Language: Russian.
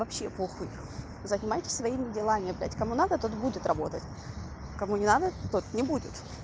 вообще похуй занимайтесь своими делами опять кому надо тот будет работать кому не надо тот не будет